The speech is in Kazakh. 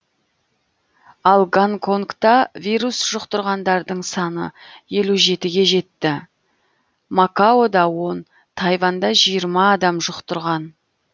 ал гонконгта вирус жұқтырғандардың саны елу жетіге жетті макаода он тайванда жиырма адам жұқтырған